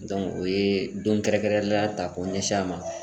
Dɔnku o ye don kɛrɛnkɛrɛnenyala k'o ɲɛsin a ma